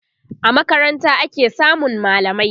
a makaranta ake samun mallamai